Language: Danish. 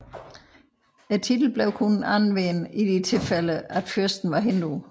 Titlen blev kun anvendt i de tilfælde fyrsten var hindu